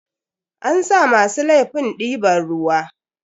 An sa masu laifin diban ruwa.